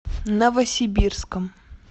новосибирском